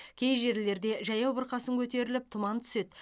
кей жерлерде жаяу бұрқасын көтеріліп тұман түседі